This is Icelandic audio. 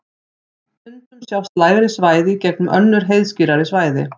stundum sjást lægri svæði í gegnum önnur heiðskírari svæði